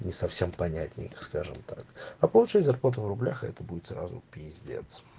не совсем понятненько скажем так а получать зарплату в рублях это будет сразу пиздец